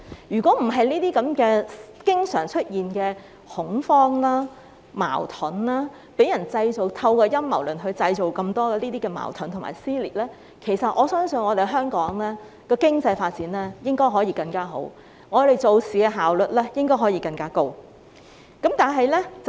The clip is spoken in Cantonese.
如果沒有這些經常出現的恐慌、矛盾，沒有陰謀論造成那麼多的矛盾和撕裂的話，我相信香港經濟應該可以發展得更好，而我們做事的效率應該可以更高。